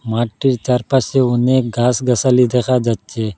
মাঠটির চারপাশে অনেক গাছ-গাছালি দেখা যাচ্ছে।